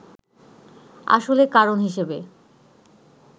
আসলে কারণ হিসেবে